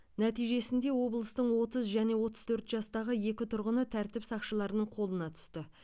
нәтижесінде облыстың отыз және отыз төрт жастағы екі тұрғыны тәртіп сақшыларының қолына түсті